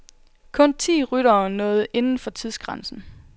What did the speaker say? Kun ti ryttere nåede inden for tidsgrænsen.